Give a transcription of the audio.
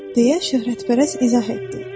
deyə şöhrətpərəst izah etdi.